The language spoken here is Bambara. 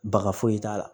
Baka foyi t'a la